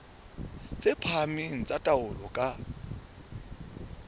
tse phahameng tsa taolo ka